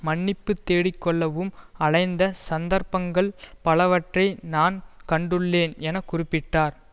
மன்னிப்பு தேடிக்கொள்ளவும் அலைந்த சந்தர்ப்பங்கள் பலவற்றை நான் கண்டுள்ளேன் என குறிப்பிட்டார்